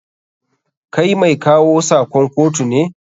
Kai mai kawo sakon kotu ne?